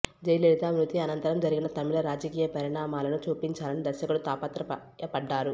జయలలిత మృతి అనంతంరం జరిగిన తమిళ రాజకీయ పరిణామాలను చూపించాలని దర్శకుడు తాపత్రయపడ్డారు